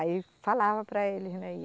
Aí falava para eles, né?